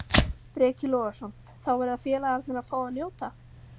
Breki Logason: Þá verða félagarnir að fá að njóta?